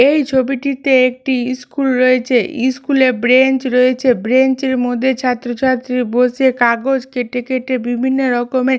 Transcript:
এই ছবিটিতে একটি স্কুল রয়েছে স্কুল -এ বেঞ্চ রয়েছে বেঞ্চ এর মধ্যে ছাত্র ছাত্রী বসে কাগজ কেটে কেটে বিভিন্ন রকমের--